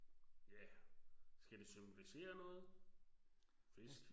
Ja. Skal det symbolisere noget? Fisk